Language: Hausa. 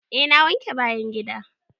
Eh na wanke bayan gida.